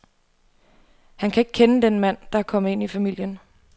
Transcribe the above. Han kan ikke kende den mand, der er kommet ind i familien.